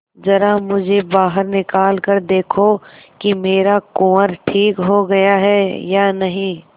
जरा मुझे बाहर निकाल कर देखो कि मेरा कुंवर ठीक हो गया है या नहीं